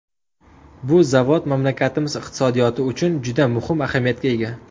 Bu zavod mamlakatimiz iqtisodiyoti uchun juda muhim ahamiyatga ega.